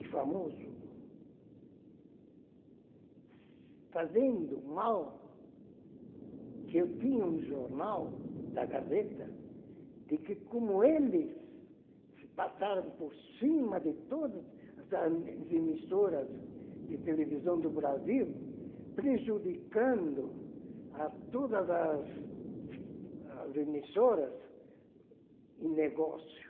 e famoso, fazendo mal que eu tinha um jornal da Gazeta, de como eles se passaram por cima de todas as as emissoras de televisão do Brasil, prejudicando a todas as as emissoras e negócio.